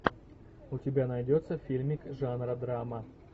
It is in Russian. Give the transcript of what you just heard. у тебя найдется фильмик жанра драма